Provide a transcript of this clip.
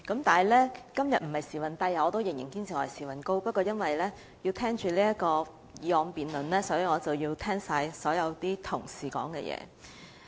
不過，今天我並不是"時運低"——我仍然堅持我是"時運高"的——不過，為了要聆聽今天的議案辯論，因此要聆聽所有同事的發言。